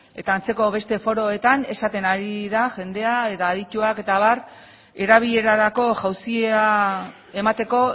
eta antzeko beste foroetan esaten ari da jendea eta adituak eta abar erabilerarako jauzia emateko